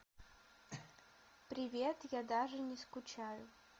привет я даже не скучаю